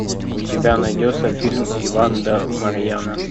у тебя найдется фильм иван да марья